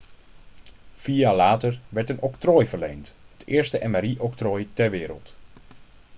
vier jaar later werd een octrooi verleend het eerste mri-octrooi ter wereld